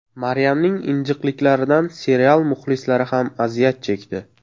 Maryamning injiqliklaridan serial muxlislari ham aziyat chekdi.